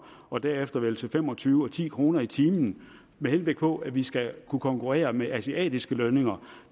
og derefter vel til fem og tyve og ti kroner i timen med henblik på at vi skal kunne konkurrere med asiatiske lønninger